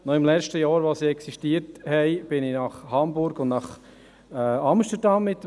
Noch im letzten Jahr ihrer Existenz fuhr ich mit dem Nachtzug nach Hamburg und nach Amsterdam.